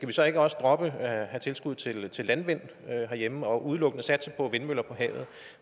vi så ikke også droppe at have tilskud til til landmænd herhjemme og udelukkende satse på vindmøller på havet